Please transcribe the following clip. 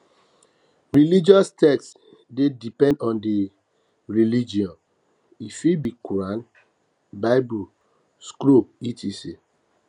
religious text de depend on di depend on di religion e fit be bible quaran scrolls etcs